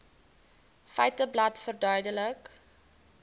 feiteblad verduidelik